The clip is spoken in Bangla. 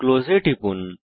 ক্লোজ এ টিপুন